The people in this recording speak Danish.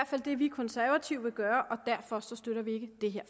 fald det vi konservative vil gøre og derfor støtter vi ikke det her